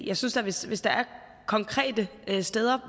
jeg synes da hvis hvis der er konkrete steder